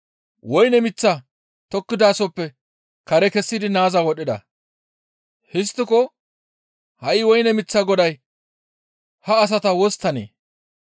Woyne miththaa tokkidasoppe kare kessidi naaza wodhida. Histtiko ha7i woyne miththaa goday ha asata wosttanee?